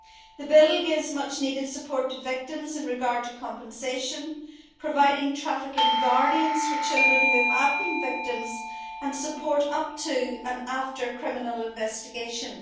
The bill gives much needed support to victims with regard to compensation, providing trafficking guardians' for children who have been victims, and support up to and after criminal investigations.